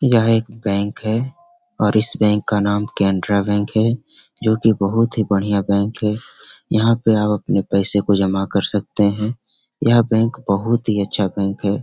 यह एक बैंक है और इस बैंक का नाम कैनरा बैंक है जो की बहुत ही बढ़िया बैंक है। यहाँ पे आप अपने पैसे को जमा कर सकते हैं। यह बैंक बहुत ही अच्छा बैंक है।